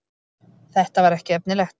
Þetta var ekki efnilegt.